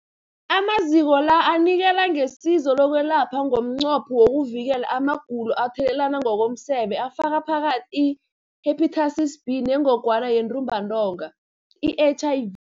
Amaziko la anikela ngesizo lokwelapha ngomnqopho wokuvikela amagulo athathelana ngokomseme afaka phakathi i-Hepatitis B neNgogwana yeNtumbantonga, i-HIV.